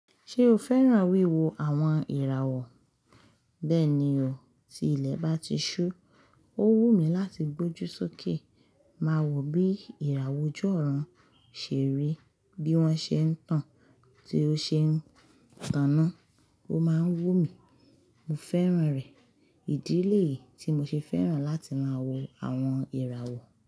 Ṣé o fẹ́ràn wíwo àwọn ìràwọ̀? Bẹ́ẹ̀ni o, tí ilẹ̀ bá ti ṣú, ó wù mí láti gbójú sókè, máa wò bí ìràwọ̀ ojú ọ̀run ṣe rí, bí wọ́n ṣe ń tàn, tí ó ṣe ń taná. Ó máa ń wù mí, mo fẹ́ràn rẹ̀. Ìdí léyìí tí mo ṣe fẹ́ràn láti máa wo àwọn ìràwọ̀